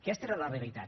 aquesta era la realitat